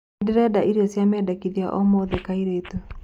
Ndĩrenda irio cĩa medekĩthĩa o mothe kaĩrïtũ